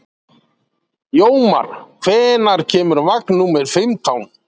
Jómar, hvenær kemur vagn númer fimmtán?